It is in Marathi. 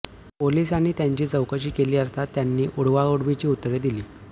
पोलीसांनी त्यांची चौकशी केली असता त्यांनी उडवाउडवीची उत्तरे दिली